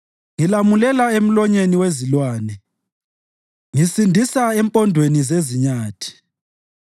Ngilamulela emlonyeni wezilwane; ngisindisa empondweni zezinyathi.